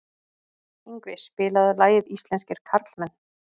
Yngvi, spilaðu lagið „Íslenskir karlmenn“.